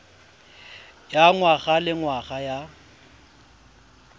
ya ngwaga le ngwaga ya